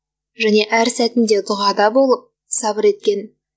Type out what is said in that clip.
және әр сәтінде дұғада болып сабыр еткен